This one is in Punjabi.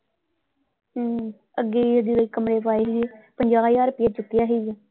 ਹਮ ਅੱਗੇ ਜਦੋਂ ਅਸੀਂ ਕਮਰੇ ਪਾਏ ਸੀਗੇ ਪੰਜਾਹ ਹਜ਼ਾਰ ਰੁਪਈਆ ਚੁੱਕਿਆ ਸੀਗਾ।